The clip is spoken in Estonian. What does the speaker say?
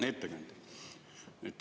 Hea ettekandja!